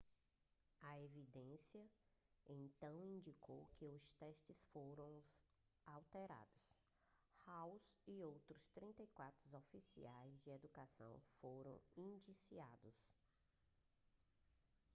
a evidência então indicou que os testes foram adulterados hall e outros outros 34 oficiais de educação foram indiciados